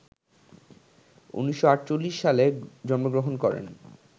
১৯৪৮ সালে জন্মগ্রহণ করেন